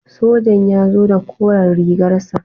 Sojan ya zo da koren rigar sa.